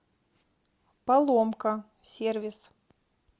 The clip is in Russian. поломка сервис